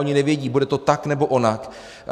Oni nevědí - bude to tak, nebo onak?